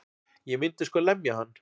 Ég myndi sko lemja hann.